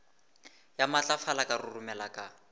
ya matlafala ka roromela ka